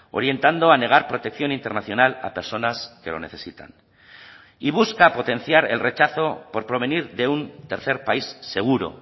orientando a negar protección internacional a personas que lo necesitan y busca potenciar el rechazo por provenir de un tercer país seguro